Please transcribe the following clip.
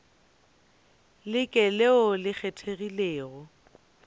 le ke leo le kgethegilego